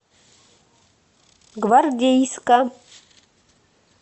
гвардейска